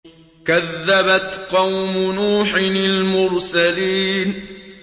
كَذَّبَتْ قَوْمُ نُوحٍ الْمُرْسَلِينَ